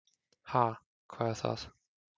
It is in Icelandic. """Ha, hvað er það?"""